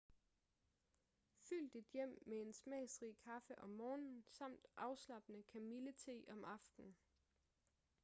fyld dit hjem med en smagsrig kaffe om morgenen samt afslappende kamillete om aftenen